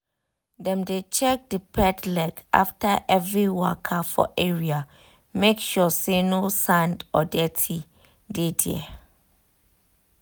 dem dey check the pet leg after every waka for area make sure say no sand or dirty dey there.